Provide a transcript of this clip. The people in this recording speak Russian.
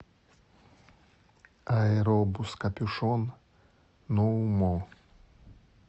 аэробус копюшон ноу мо